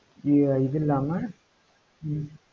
இவர் இது இல்லாம ஹம்